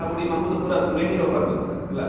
ବୁଢା ବୁଢ଼ୀ ମାନକୁ ତ ପୁରା ଦୂରେ ହିଁ ରଖବାର କଥା ହେଲା ?